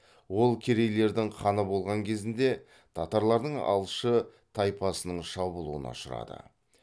ол керейлердің ханы болған кезінде татарлардың алшы тайпасының шабуылына ұшырады